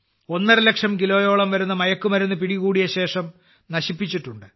ഒന്നരലക്ഷം കിലോയോളം വരുന്ന മയക്കുമരുന്ന് പിടികൂടിയ ശേഷം നശിപ്പിച്ചിട്ടുണ്ട്